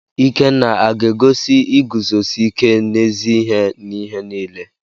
Ikenna aga-egosi iguzosi ike n'ezi ihe n'ihe niile?